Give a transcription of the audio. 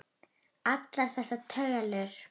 Allar þessar tölur.